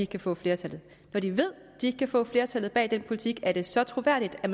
kan få flertal når de ved de ikke kan få flertal bag den politik er det så troværdigt at